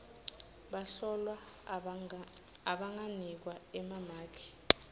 bahlolwa abanganikwa emamaki